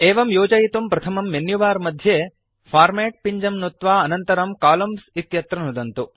एवं योजयितुं प्रथमं मेन्युबार मध्ये फॉर्मेट् पिञ्जं नुत्वा अनन्तरं कोलम्न्स् इत्यत्र नुदन्तु